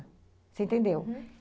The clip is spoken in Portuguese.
Você entendeu?